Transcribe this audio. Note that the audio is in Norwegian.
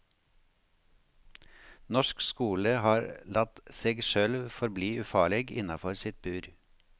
Norsk skole har latt seg sjølv forbli ufarleg innafor sitt bur.